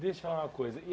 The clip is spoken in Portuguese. Deixa eu falar uma coisa. E